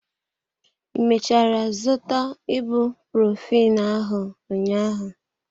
I mechara zụta ibuprophen ahụ ụnyaahụ?